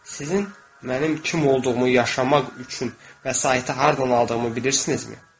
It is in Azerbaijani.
Sizin mənim kim olduğumu yaşamaq üçün vəsaiti hardan aldığımı bilirsinizmi?